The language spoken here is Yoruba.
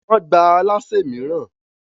Wọ́n gbà alásè mìíràn.